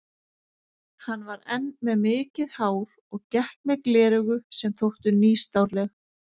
Hann var enn með mikið hár og gekk með gleraugu sem þóttu nýstárleg.